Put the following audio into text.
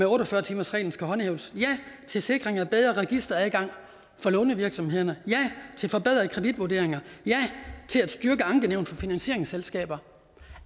otte og fyrre timersreglen skal håndhæves ja til sikring af bedre registeradgang for lånevirksomhederne ja til forbedrede kreditvurderinger ja til at styrke ankenævnet for finansieringsselskaber